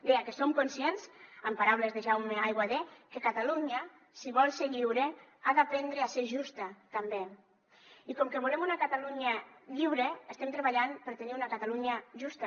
deia que som conscients amb paraules de jaume aiguader que catalunya si vol ser lliure ha d’aprendre a ser justa també i com que volem una catalunya lliure estem treballant per tenir una catalunya justa